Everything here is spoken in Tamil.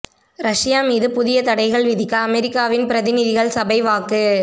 ரஷ்யா மீது புதிய தடைகள் விதிக்க அமெரிக்காவின் பிரதிநிதிகள் சபை வாக்கு